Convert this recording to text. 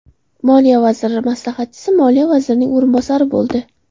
Moliya vaziri maslahatchisi moliya vazirining o‘rinbosari bo‘ldi.